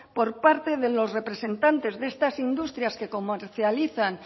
por parte de los representantes de estas industrias que comercializan